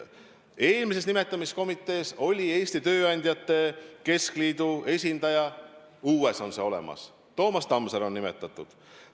Eelmises nimetamiskomitees oli Eesti Tööandjate Keskliidu esindaja, uues on ta olemas, Toomas Tamsar on sinna nimetatud.